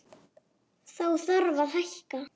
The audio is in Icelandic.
Þá þarf að hækka.